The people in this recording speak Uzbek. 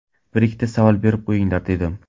Bir-ikkita savol berib qo‘yinglar, dedim.